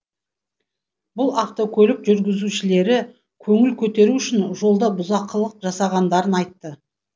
бұл автокөлік жүргізушілері көңіл көтеру үшін жолда бұзақылық жасағандарын айтты